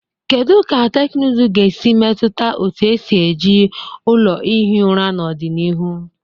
Kedu ka teknụzụ ga-esi metụta otu esi eji ụlọ ihi ụra n'ọdịnihu?